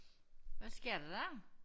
Hvad sker der dér?